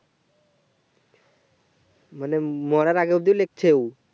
মানে মরার আগে অব্দি লিখছে ওঁ